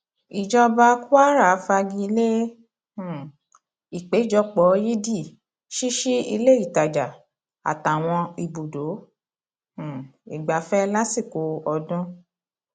ìjọba kwara fagi lé um ìpéjọpọ yídì ṣíṣí ilé ìtajà àtàwọn ibùdó um ìgbafẹ lásìkò ọdún